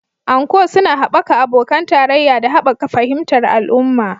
Anko suna haɓaka abokan tarayya da haɓaka fahimtar al'umma